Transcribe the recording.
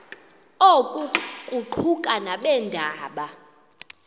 oku kuquka nabeendaba